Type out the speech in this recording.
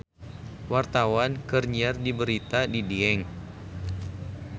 Wartawan keur nyiar berita di Dieng